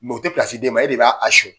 Mɛ u tɛ plasi di e ma, e de b'a sɔnyɛ.